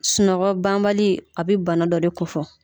Sunɔgɔ banbali a bi bana dɔ de kofɔ.